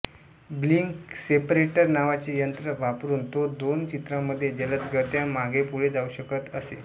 blink separator नावाचे यंत्र वापरून तो दोन चित्रांमध्ये जलदगत्या मागेपुढे जाऊ शकत असे